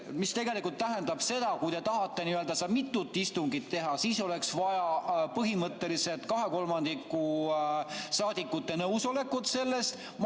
See tähendab seda, et kui te tahate mitut istungit teha, siis oleks vaja põhimõtteliselt 2/3 saadikute nõusolekut selleks.